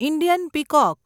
Indian peacock